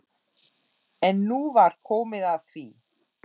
EN NÚ VAR KOMIÐ AÐ ÞVÍ.